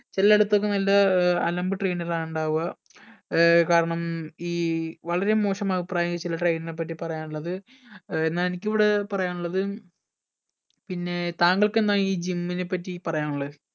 ചില്ലടുത്തൊക്കെ നല്ല ഏർ അലമ്പ് trainer ആ ഇണ്ടാവുക ഏർ കാരണം ഈ വളരെ മോശം അഭിപ്രായം ചിലര് trainer ന പറ്റി പറയാനുള്ളത് ഏർ ന്ന എനിക്കിവിടെ പറയാനിള്ളത് പിന്നെ താങ്കൾക്ക് എന്ന ഈ gym നെ പറ്റി പറയാനുള്ളെ